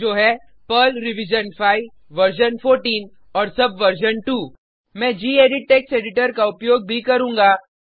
जो है Perl revision 5 version 14 और सबवर्जन 2 मैं गेडिट टेक्स्ट एडिटर का उपयोग भी करुँगा